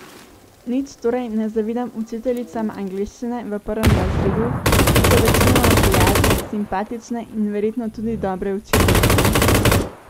Nič torej ne zavidam učiteljicam angleščine v prvem razredu, ki so večinoma prijazne, simpatične in verjetno tudi dobre učiteljice.